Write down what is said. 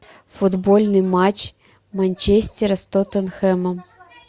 футбольный матч манчестера с тоттенхэмом